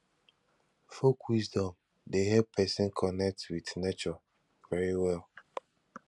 folk wisdom de help persin connect with nature very well